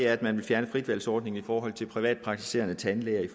at man vil fjerne frit valg ordningen i forhold til privatpraktiserende tandlæger i